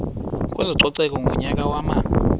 kwezococeko ngonyaka wama